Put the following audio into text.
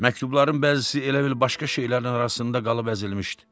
Məktubların bəzisi elə bil başqa şeylərin arasında qalıb əzilmişdi.